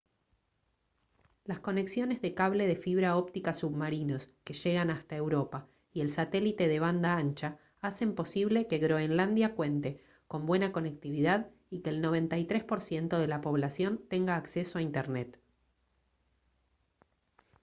las conexiones de cable de fibra óptica submarinos que llegan hasta europa y el satélite de banda ancha hacen posible que groenlandia cuente con buena conectividad y que el 93% de la población tenga acceso a internet